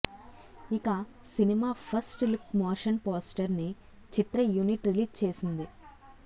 ఇక cinema first look motion poster ని చిత్ర యూనిట్ రిలీజ్ చేసింది